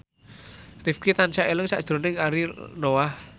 Rifqi tansah eling sakjroning Ariel Noah